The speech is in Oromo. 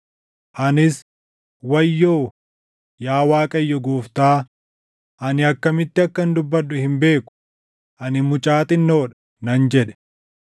Anis, “Wayyoo, yaa Waaqayyo Gooftaa ani akkamitti akkan dubbadhu hin beeku; ani mucaa xinnoo dha” nan jedhe.